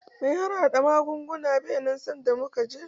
Mai harhaɗa magunguna bai nan sanda muke je.